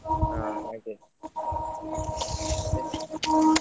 ಹ ಹಾಗೆ.